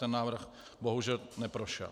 Ten návrh bohužel neprošel.